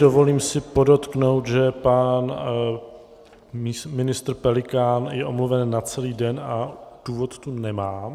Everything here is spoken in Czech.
Dovolím si podotknout, že pan ministr Pelikán je omluven na celý den a důvod tu nemám.